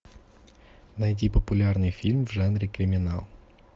найди популярный фильм в жанре криминал